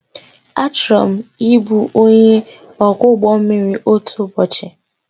Achọrọ m ịbụ onye ọkwọ ụgbọ mmiri otu ụbọchị